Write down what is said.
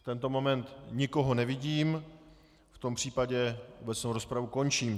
V tento moment nikoho nevidím, v tom případě obecnou rozpravu končím.